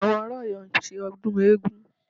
Àwọn ará Ọ̀yọ́ ń ṣe ọdún eégún